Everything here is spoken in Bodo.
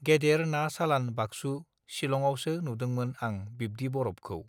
गेदेर ना सालान बागसू सिलङावसो नुदोंमोन आं बिब्दि बरफखौ